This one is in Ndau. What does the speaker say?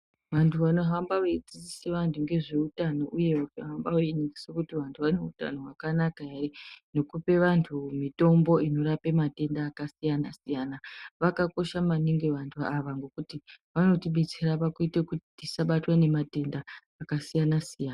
Vantu vanohamba vachidzidzisa vantu ngezveutano uye vechihamba veiningisekuti vantu vaneutano hwakanaka ere nekupa antu mitombo inorape matenda akasiyana siyana vakakosha maningi vantu vavo ngekuti Vanotibetsera pakuite kuti tisabatwe ngematenda akasiyana siyana.